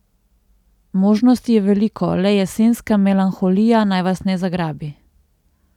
Možnosti je veliko, le jesenska melanholija naj vas ne zagrabi!